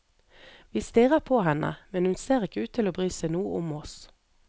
Vi stirrer på henne, men hun ser ikke ut til å bry seg noe om oss.